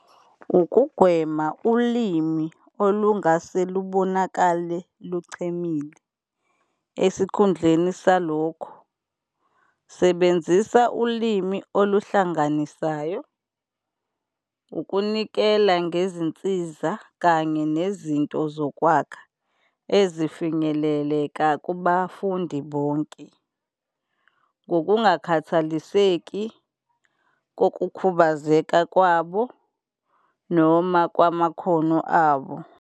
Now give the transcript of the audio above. Ukugwema ulimi olungase lubonakale luqhemile esikhundleni salokho, sebenzisa ulimi oluhlanganisayo. Ukunikela ngezinsiza kanye nezinto zokwakha ezifinyeleleka kubafundi bonke ngokungakhathaliseki kokukhubazeka kwabo noma kwamakhono abo.